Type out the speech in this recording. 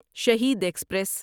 Shaheed express